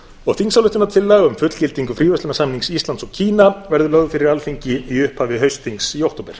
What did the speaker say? og þingsályktunartillaga um fullgildingu fríverslunarsamnings íslands og kína verður lögð fyrir alþingi í upphafi haustþings í október